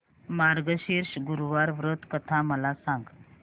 मार्गशीर्ष गुरुवार व्रत कथा मला सांग